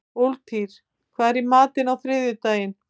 Úlftýr, hvað er í matinn á þriðjudaginn?